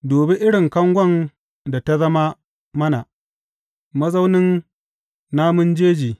Dubi irin kangon da ta zama mana, mazaunin namun jeji!